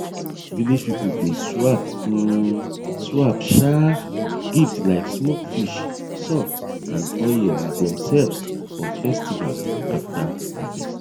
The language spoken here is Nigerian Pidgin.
village people dey swap um swap um gift like smoke fish salt and oil with themselves for festival after harvest